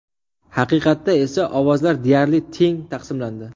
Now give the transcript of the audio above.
Haqiqatda esa ovozlar deyarli teng taqsimlandi.